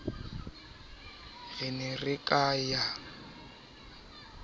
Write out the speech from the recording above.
re ne re ka ya